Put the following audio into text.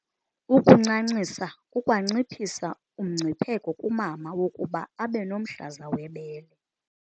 Ukuncancisa kukwanciphisa umngcipheko kumama wokuba abe nomhlaza webele.